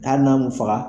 Hali n'an m'u faga